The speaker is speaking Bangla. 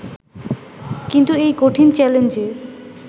কিন্তু এই কঠিন চ্যালেঞ্জে